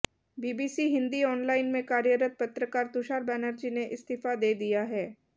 BBC Hindi online में कार्यरत पत्रकार तुषार बनर्जी ने इस्तीफा दे दिया है